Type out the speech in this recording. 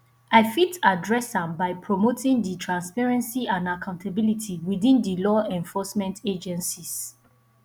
i fit adress am by promoting di transparency and accountability within di law enforcement agencies